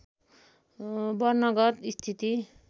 वर्णगत स्थिति